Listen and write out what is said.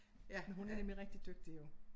Men hun er nemlig rigtig dygtig jo